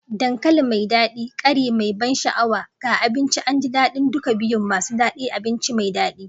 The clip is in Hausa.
Dankali mai dadi, ƙari mai ban sha'awa ga abinci, an ji daɗin duka biyun masu daɗi da abinci mai daɗi.